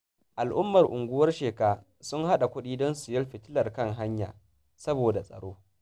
Al'ummar unguwar Sheka sun hada kudi don sayan fitilar kan hanya, saboda tsaro